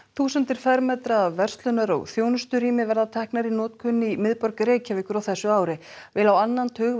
þúsundir fermetra af verslunar og þjónusturými verða teknar í notkun í miðborg Reykjavíkur á þessu ári vel á annan tug